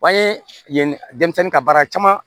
An ye yen denmisɛnnin ka baara caman